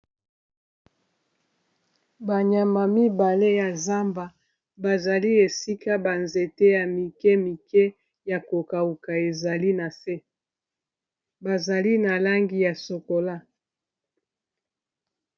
Ba nyama mibale ya zamba bazali esika ba nzete ya mike mike ya ko kauka ezali na se, bazali na langi ya sokola.